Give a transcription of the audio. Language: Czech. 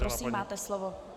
Prosím, máte slovo.